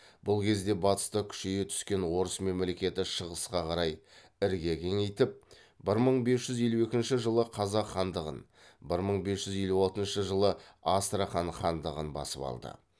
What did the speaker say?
бұл кезде батыста күшейе түскен орыс мемлекеті шығысқа қарай ірге кеңейтіп бір мың бес жүз елу екінші жылы қазақ хандығын бір мың бес жүз елу алтыншы жылы астрахан хандығын басып алды